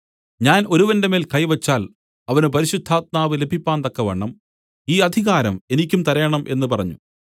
ഞാൻ ഒരുവന്റെ മേൽ കൈ വെച്ചാൽ അവന് പരിശുദ്ധാത്മാവ് ലഭിപ്പാൻ തക്കവണ്ണം ഈ അധികാരം എനിക്കും തരേണം എന്ന് പറഞ്ഞു